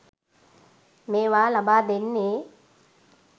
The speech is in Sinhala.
මේවා ලබා දෙන්නේ.